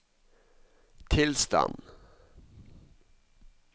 tilstand